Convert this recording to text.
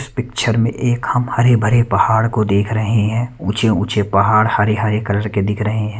Picture में एक हम हरे -भरे पहाड़ को देख रहे हैं ऊंचे-ऊंचे पहाड़ हरे-हरे कलर के दिख रहे हैं।